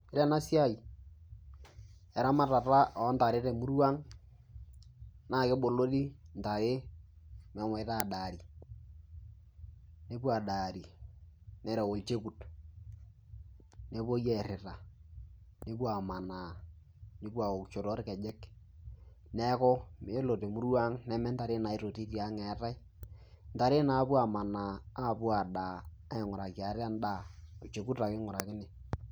Ore ena siai eramatata o ntare te murua ang' naake ebolori ntare meshomoita aadari nepuo adari, nereu olchokut pee epuoi airira nepuo amanaa, nepuo awokisho torkejek. Neeku iyolo te murua ang' ne mee ntare naitoti tiang' eetai, ntare naapuo amaana apuo adaa aing'uraki ate endaa olchokut ake ing'urakini.